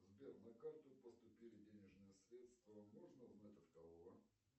сбер на карту поступили денежные средства можно узнать от кого